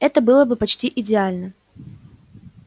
это было бы почти идеально